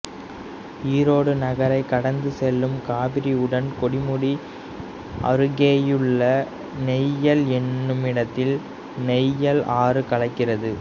ஈரோடு நகரைக் கடந்து செல்லும் காவிரியுடன் கொடுமுடி அருகேயுள்ள நொய்யல் என்னுமிடத்தில் நொய்யல் ஆறு கலக்கிறது